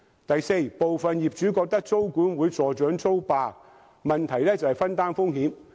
第四，部分業主覺得租管會助長"租霸"，問題其實在於分擔風險。